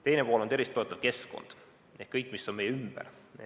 Teine pool on tervist toetav keskkond ehk kõik, mis on meie ümber.